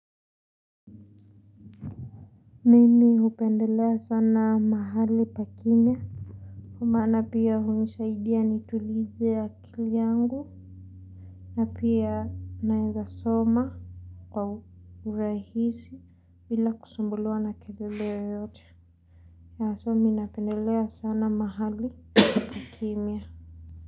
Mimi upendelea sana mahali pa kimya kwa maana pia unisaidia nitulize a kili yangu na pia naeza soma kwa urahisi bila kusumbuliwa na kelele yoyote na haswa mi napendelea sana mahali pa kimia.